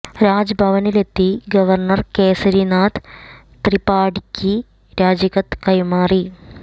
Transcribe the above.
രാജ് ഭവനിലെത്തി ഗവര്ണര് കേസരി നാഥ് ത്രിപാഠിക്ക് രാജിക്കത്ത് കൈമാറി